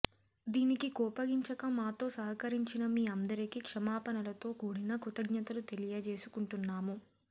దీనికి కోపగించక మాతో సహకరించిన మీ అందరికి క్షమాపణలతో కూడిన కృతజ్ఞతలు తెలియజేసుకుంటున్నాము